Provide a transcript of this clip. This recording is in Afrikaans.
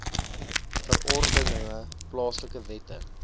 verordeninge plaaslike wette